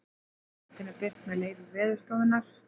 Myndin er birt með leyfi Veðurstofunnar.